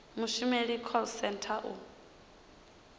mushumeli wa call centre u